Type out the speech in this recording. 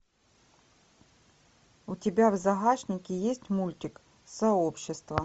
у тебя в загашнике есть мультик сообщество